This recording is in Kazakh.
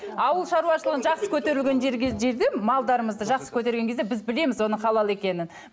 ауыл шаруашылығын жақсы жерде малдарымызды жақсы көтерген кезде біз білеміз оның халал екенін